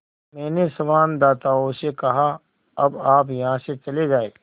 मैंने संवाददाताओं से कहा अब आप यहाँ से चले जाएँ